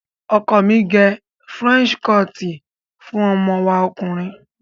Ọkọ mi gẹ Fúrẹ́ńṣí kọọ̀tì fún ọmọ wa ọkùnrin.